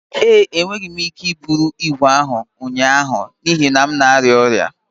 ee, Enweghị m ike iburu ígwè ahụ ụnyaahụ n'ihi na m na-arịa ọrịa